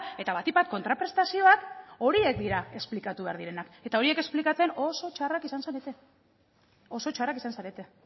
eta batik bat kontraprestazioak horiek dira esplikatu behar direnak eta horiek esplikatzen oso txarrak izan zarete oso txarrak izan zarete